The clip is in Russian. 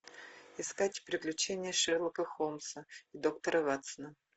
искать приключения шерлока холмса и доктора ватсона